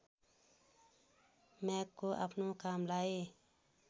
म्यागको आफ्नो कामलाई